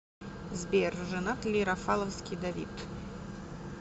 сбер женат ли рафаловский давид